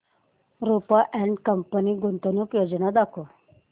Rupa and company गुंतवणूक योजना दाखव